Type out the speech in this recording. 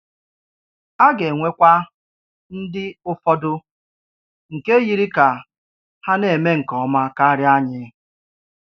À ga-enwekwà ndì ụfọdụ nkè yiri kà há nà-eme nke ómá karịa ànyì